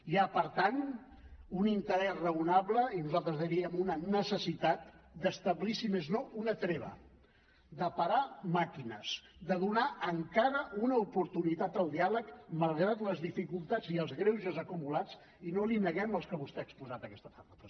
hi ha per tant un interès raonable i nosaltres en diríem una necessitat d’establir si més no una treva de parar màquines de donar encara una oportunitat al diàleg malgrat les dificultats i els greuges acumulats i no li neguem els que vostè ha exposat aquesta tarda president